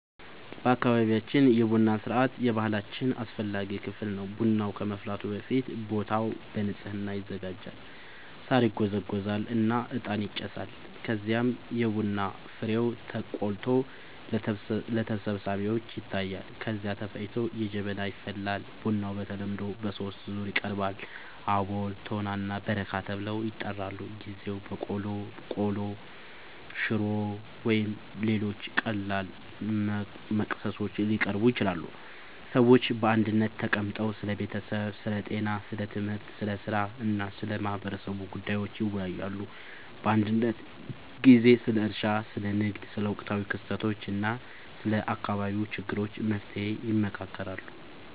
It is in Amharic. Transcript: በአካባቢያችን የቡና ሥርዓት የባህላችን አስፈላጊ ክፍል ነው። ቡናው ከመፍላቱ በፊት ቦታው በንጽህና ይዘጋጃል፣ ሳር ይጎዘጎዛል እና እጣን ይጨሳል። ከዚያም የቡና ፍሬው ተቆልቶ ለተሰብሳቢዎች ይታያል፣ ከዚያ ተፈጭቶ በጀበና ይፈላል። ቡናው በተለምዶ በሦስት ዙር ይቀርባል፤ አቦል፣ ቶና እና በረካ ተብለው ይጠራሉበ ጊዜ በቆሎ፣ ቆሎ፣ ሽሮ ወይም ሌሎች ቀላል መክሰሶች ሊቀርቡ ይችላሉ። ሰዎች በአንድነት ተቀምጠው ስለ ቤተሰብ፣ ስለ ጤና፣ ስለ ትምህርት፣ ስለ ሥራ እና ስለ ማህበረሰቡ ጉዳዮች ይወያያሉ። አንዳንድ ጊዜ ስለ እርሻ፣ ስለ ንግድ፣ ስለ ወቅታዊ ክስተቶች እና ስለ አካባቢው ችግሮች መፍትሔ ይመካከራሉ